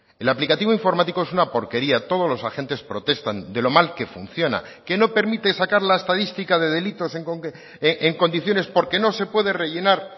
el aplicativo informático es una porquería todos los agentes protestan de lo mal que funciona que no permite sacar la estadística de delitos en condiciones porque no se puede rellenar